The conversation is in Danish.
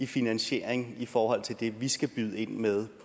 finansiering i forhold til det vi skal byde ind med